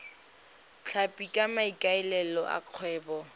tlhapi ka maikaelelo a kgwebo